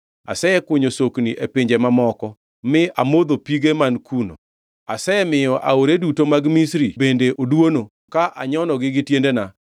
Asekunyo sokni e pinje mamoko, mi amodho pige man kuno. Asemiyo aore duto mag Misri bende oduono ka anyonogi gi tienda.”